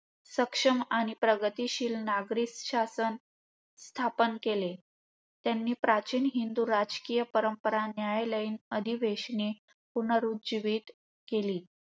सक्षम आणि प्रगतीशील नागरिक शासन स्थापन केले. त्यांनी प्राचीन हिंदू, राज्यकिय परंपरा, न्यायालयीन अधिवेशने पुनरुज्जीवीत केली.